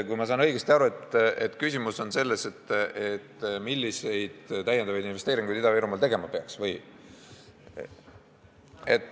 Kui ma saan õigesti aru, siis küsimus oli selles, milliseid lisainvesteeringuid Ida-Virumaal tegema peaks.